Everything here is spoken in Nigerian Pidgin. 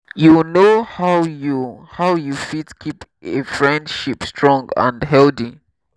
you know how you how you fit keep a friendship strong and healthy?